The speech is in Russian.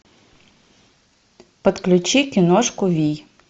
подключи киношку вий